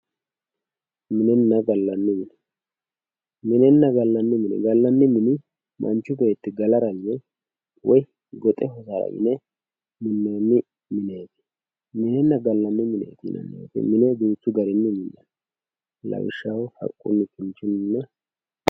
minenna gallani mine minenna gallani mine gallani mini manchu beetti galara yee woy goxe ka"ara yine minanni mineet minenna gallani mine duuchu garinni minanni lawishshaho haqqunni.